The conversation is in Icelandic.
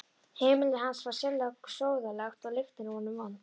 Heimili hans var sérlega sóðalegt og lyktin af honum vond.